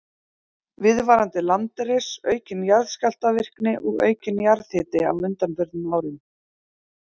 Viðvarandi landris, aukin jarðskjálftavirkni og aukinn jarðhiti á undanförnum árum.